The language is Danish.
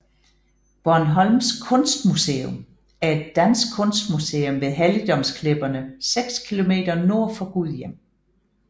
Bornholms Kunstmuseum er et dansk kunstmuseum ved Helligdomsklipperne seks km nord for Gudhjem